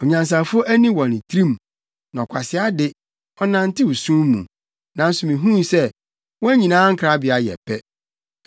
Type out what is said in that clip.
Onyansafo ani wɔ ne tirim, na ɔkwasea de, ɔnantew sum mu; nanso mihuu sɛ wɔn nyinaa nkrabea yɛ pɛ.